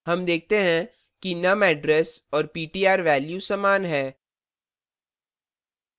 num देखते हैं कि num address और ptr value समान है